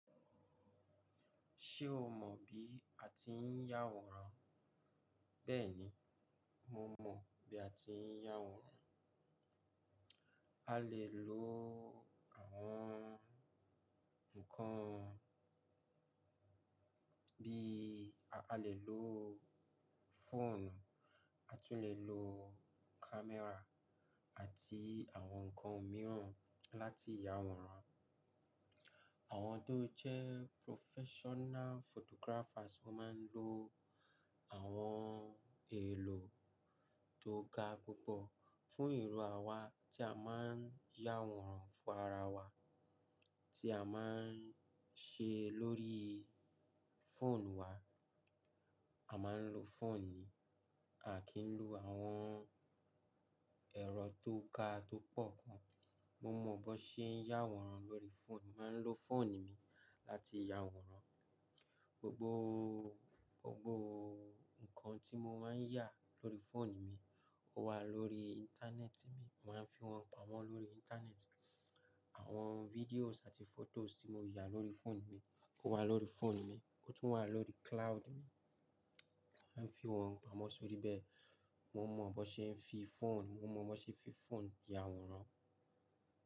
Ṣé o mọ̀ bí a ti ń yàwòrán? Bẹ́ẹ̀ni, mo mọ̀ bí a ti ń yàwòrán. A lè lo àwọn ǹkan bí a lè lo fóònù, a tún lè lo camera àti àwọn ǹkan mìíràn láti yàwòrán. Àwọn tó jẹ́ professional photographers máa ń lo àwọn èlò tó ga púpọ̀ fún ìrọ̀ àwa tí a máa ń yàwòrán fún ára wá tí a máa ń ṣe lórí fóònù wa. A máa ń lo fóònù ni, à kí ń lo àwọn ẹ̀rọ tó ká tó pọ̀ gàn. Mo mọ̀ bó ṣe ń yàwòrán lórí fóònù. Mo máa ń lo fóònù mi láti yàwòrán. Gbógbó, gbógbó ǹkan tí mo máa ń yà lórí fóònù mi, ó wà lórí íńtánẹ́ẹ̀tì mi. Mo máa ń fi wọ́n pamọ́ lórí íńtánẹ́ẹ̀tì. Àwọn videos àti photos tí mo yà lórí fóònù mi, ó wà lórí fóònù mi, ó tún wà lórí cloud mi. A lè fi wọ́n pamọ́ sórí bẹ́ẹ̀. Mó mọ̀ bó ṣe ń fi fóònù, mó mọ̀ bó ṣe ń fi fóònù ya àwòrán.